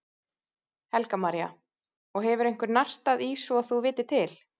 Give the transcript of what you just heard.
Helga María: Og hefur einhver nartað í svo þú vitir til?